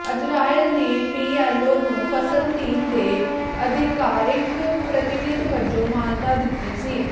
Israel ਨੇ PLO ਨੂੰ ਫਲਸਤੀਨ ਦੇ ਅਧਿਕਾਰਿਕ ਪ੍ਰਤੀਨਿਧ ਵਜੋਂ ਮਾਨਤਾ ਦਿੱਤੀ ਸੀ